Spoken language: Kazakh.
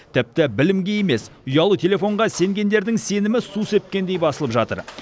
тіпті білімге емес ұялы телефонға сенгендердің сенімі су сепкендей басылып жатыр